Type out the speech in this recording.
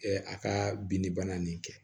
a ka binni bana nin kɛ